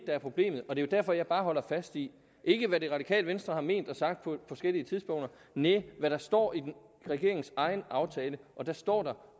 er problemet og det er derfor jeg bare holder fast i ikke hvad de radikale og venstre har ment og sagt på forskellige tidspunkter næh men hvad der står i regeringens egen aftale og der står der